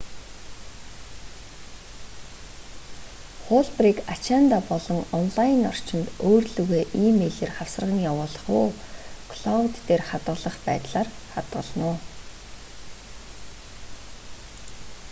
хуулбарыг ачаандаа болон онлайн орчинд өөр лүүгээ э-мэйлээр хавсарган явуулах юм уу клоуд дээр хадгалах байдлаар хадгална уу